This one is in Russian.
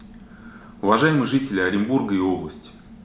уважаемые жители оренбурга и области